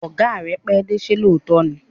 Ọ̀gá rẹ pẹ́dé, ṣé lóòótọ́ ni?